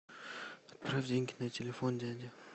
отправь деньги на телефон дяде